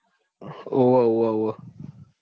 હોવે હોવે હોવે.